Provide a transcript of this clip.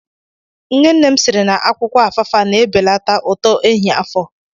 Nne nne m siri na akwụkwọ afaafa na-ebelata uto ehiafọ.